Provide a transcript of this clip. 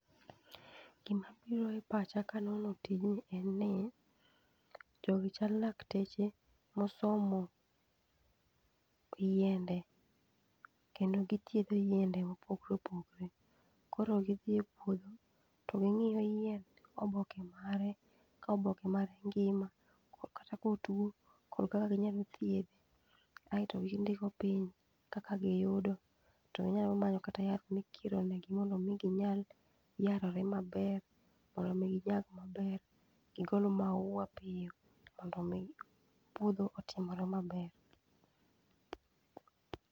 Gima biro e pacha kanono tijni en ni jogi chal lakteche mosomo yiende kendo githiedho yiende mopogore opogore koro gidhi e puodho to gingio yiend oboke mare ko boke mare ng'ima kata kotwo to kaka ginyalo thiedhe to gindiko piny kaka giyudo to onyalo manyo kata yath mikiro ne gi mondo mi ginyal yarore maber mondo mi ginyag maber gigol maua piyo mondo mi puodho otimore maber.